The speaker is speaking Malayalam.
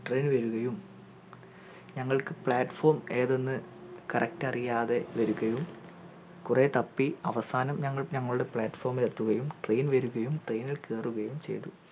train വരുകയും ഞങ്ങൾക്കു plat form ഏതെന്ന് correct അറിയാതെ വരുകയും കൊറേ തപ്പി അവസാനം ഞങ്ങൾ ഞങ്ങളുടെ plat form ഇലെത്തുകയും train വരുകയും train ഇത് കേറുകയും ചെയ്തു